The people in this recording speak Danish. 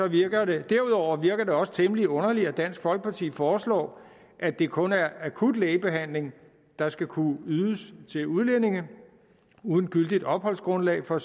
virker det også temmelig underligt at dansk folkeparti foreslår at det kun er akut lægebehandling der skal kunne ydes til udlændinge uden gyldigt opholdsgrundlag for